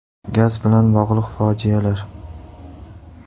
Gaz bilan bog‘liq fojialar.